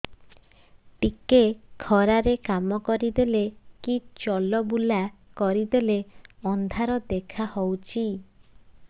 ଟିକେ ଖରା ରେ କାମ କରିଦେଲେ କି ଚଲବୁଲା କରିଦେଲେ ଅନ୍ଧାର ଦେଖା ହଉଚି